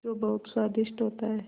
जो बहुत स्वादिष्ट होता है